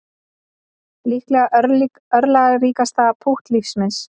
Líklega örlagaríkasta pútt lífs míns